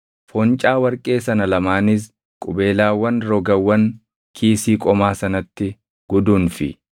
Foncaa warqee sana lamaanis qubeelaawwan rogawwan kiisii qomaa sanatti guduunfi.